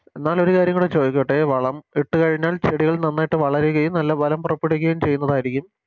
എന്നാലൊരു കാര്യം കൂടെ ചോദിച്ചിട്ടേ വളം ഇട്ട് കഴിഞ്ഞാൽ ചെടികൾ നന്നായിട്ട് വളരുകളും നല്ല ഫലം പുറപ്പെടുപ്പിക്കുകയും ചെയ്യുന്നതായിരിക്കും